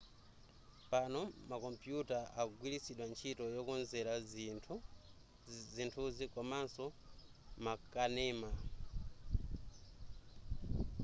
pano makompuyuta akugwiritsidwa ntchito yokonzera zithunzi komaso makanema